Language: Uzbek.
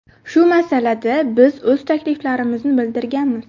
Shu masalada biz o‘z takliflarimizni bildirganmiz.